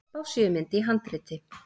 Spássíumynd í handriti.